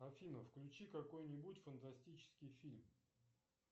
афина включи какой нибудь фантастический фильм